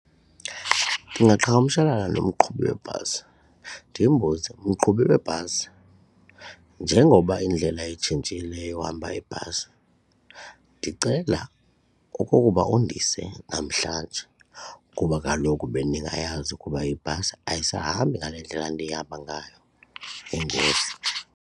Ndingaqhagamshelana nomqhubi webhasi ndimbuze, mqhubi webhasi njengoba indlela etshintshileyo yohamba ibhasi ndicela okokuba undise namhlanje ngokuba kaloku bendingayazi ukuba ibhasi ayisahambi ngale ndlela ndihamba ngayo. Enkosi.